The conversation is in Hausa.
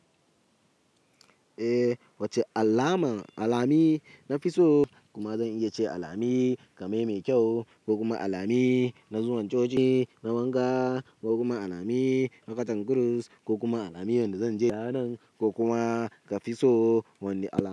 Eh wacce allama, alamu na fi so kuma zan iya ce alami kamar mai kyau ko kuma alami na zuwan coci na wanka ko kuma alami na katan krus ko kuma alami wanda zan je ranan ko kuma ka fi so wanda aka.